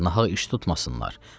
Nahaq iş tutmasınlar.